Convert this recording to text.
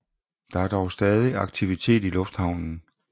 Der er dog stadig aktivitet i lufthavnen